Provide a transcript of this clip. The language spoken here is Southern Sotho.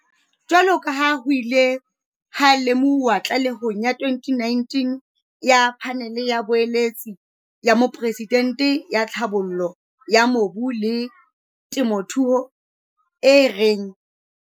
Jwaloka ha ho ile ha lemohuwa tlalehong ya 2019 ya Phanele ya Boeletsi ya Moporesidente ya Tlhabollo ya Mobu le Temothuo, e reng